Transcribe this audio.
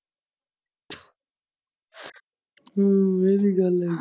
ਹਮ ਇਵੀਂ ਗੱਲ ਐ।